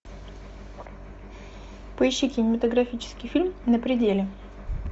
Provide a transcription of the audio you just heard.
поищи кинематографический фильм на пределе